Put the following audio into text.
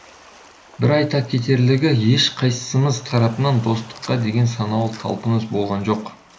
бір айта кетерлігі еш қайыссымыз тарапынан достыққа деген саналы талпыныс болған жоқ